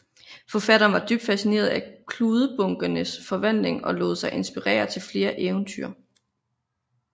Forfatteren var dybt fascineret af kludebunkernes forvandling og lod sig inspirere til flere eventyr